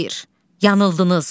Xeyr, yanıldınız.